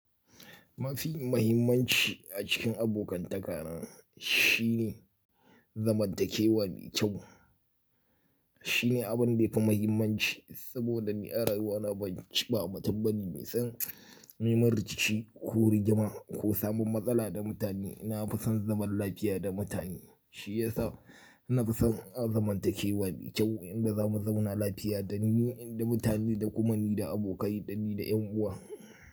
Mafi mahimmanci a cikin abokan taka na shine zamantakewa mai kyau. Shine abin da yafi mahimmanci saboda ni a rayuwana ban ci ba, ba mutum bane mai son neman rikici ko rigima ko samun matsala da mutane. Na fison zaman lafiya da mutane shiyasa na fi son zamantakewa mai kyau inda za mu zauna lafiya dani da mutane da kuma ni da abokai da ni da yan uwa.